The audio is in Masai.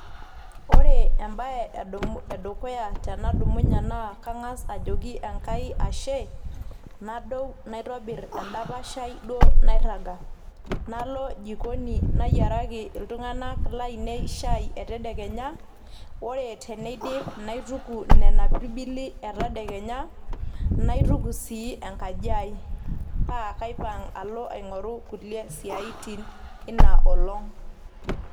Ore embae edukuya tenadumunyie naa Kang'as ajoki Enkai Ashe naitobirr edapash aii duo nairraga, nalo jikoni nayiaraki iltung'anak laainei shaii etedekenya, ore tenidip naituku Nena pirbili etadekenya naituku sii enkaji aii paa kaipang' alo aing'oru kulie siatin eina olong'.